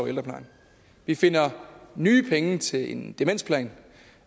ældreplejen vi finder nye penge til en demensplan